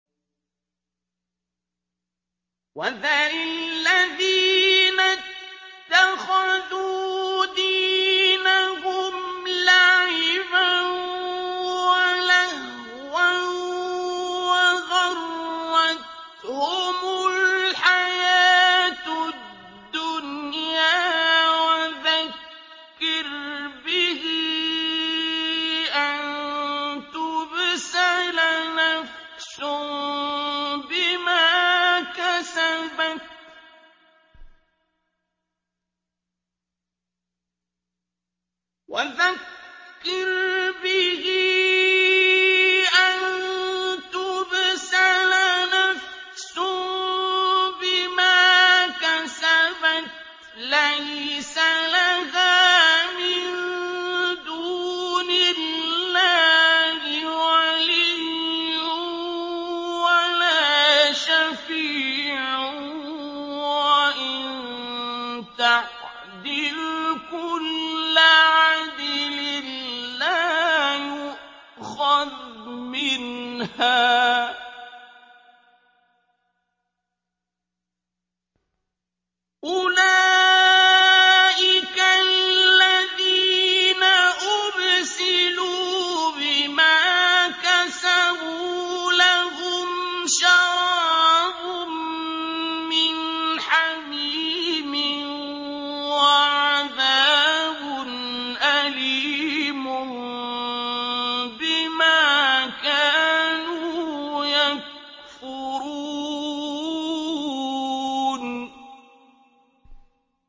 وَذَرِ الَّذِينَ اتَّخَذُوا دِينَهُمْ لَعِبًا وَلَهْوًا وَغَرَّتْهُمُ الْحَيَاةُ الدُّنْيَا ۚ وَذَكِّرْ بِهِ أَن تُبْسَلَ نَفْسٌ بِمَا كَسَبَتْ لَيْسَ لَهَا مِن دُونِ اللَّهِ وَلِيٌّ وَلَا شَفِيعٌ وَإِن تَعْدِلْ كُلَّ عَدْلٍ لَّا يُؤْخَذْ مِنْهَا ۗ أُولَٰئِكَ الَّذِينَ أُبْسِلُوا بِمَا كَسَبُوا ۖ لَهُمْ شَرَابٌ مِّنْ حَمِيمٍ وَعَذَابٌ أَلِيمٌ بِمَا كَانُوا يَكْفُرُونَ